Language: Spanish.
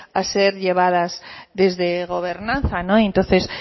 a ser llevadas desde gobernanza entonces